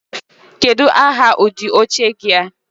Kedu aha udi oche gi a?